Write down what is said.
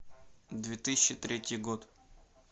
две тысячи третий год